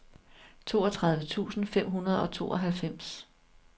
toogtredive tusind fem hundrede og tooghalvfems